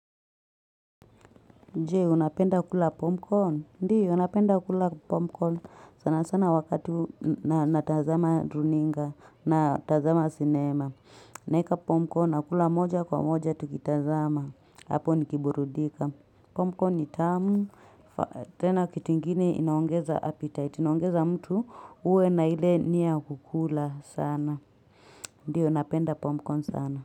Jee, unapenda kula popcorn. Ndi0, napenda kula popcorn. Sana sana wakati na tazama runinga na tazama sinema. Naweka popcorn, nakula moja kwa moja, tukitazama. Hapo nikiburudika. Popcorn ni tamu. Tena kitu kingini inaongeza appetite. Inaongeza mtu uwe na ile niya kukula sana. Ndi, unapenda popcorn sana.